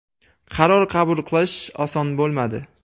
Qaror qabul qilish oson bo‘lmadi.